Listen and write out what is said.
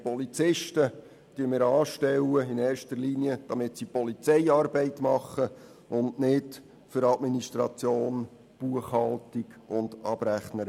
Wir stellen Polizisten in erster Linie dafür an, dass sie Polizeiarbeit machen, und nicht für Administration, Buchhaltung und Abrechnereien.